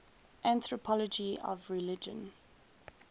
anthropology of religion